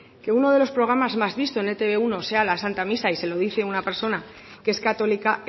que uno de los programas más visto en la e te be uno sea la santa misa y se lo dice una persona que es católica